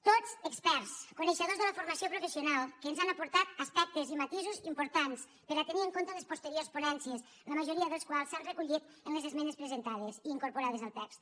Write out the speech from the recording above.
tots experts coneixedors de la formació professional que ens han aportat aspectes i matisos importants per a tenir en compte en les posteriors ponències la majoria dels quals s’han recollit en les esmenes presentades i incorporades al text